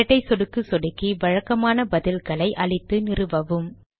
இரட்டை சொடுக்கு சொடுக்கி வழக்கமான பதில்களை அளித்து நிறுவவும்